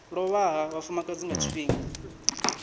lovha ha vhafumakadzi nga tshifhinga